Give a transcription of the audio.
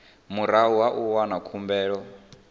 murahu ha u wana khumbelo